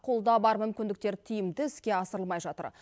қолда бар мүмкіндіктер тиімді іске асырылмай жатыр